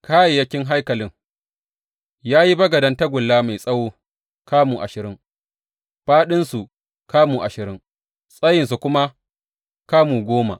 Kayayyakin haikalin Ya yi bagaden tagulla mai tsawo kamu ashirin, fāɗinsa kamu ashirin, tsayinsa kuma kamu goma.